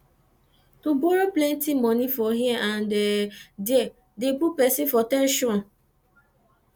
to borrow plenty money for here and there de put persin for ten sion